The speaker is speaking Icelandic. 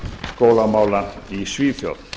skólamála í svíþjóð